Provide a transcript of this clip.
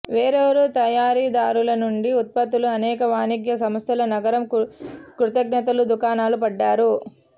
వేర్వేరు తయారీదారుల నుండి ఉత్పత్తులు అనేక వాణిజ్య సంస్థల నగరం కృతజ్ఞతలు దుకాణాలు పడ్డారు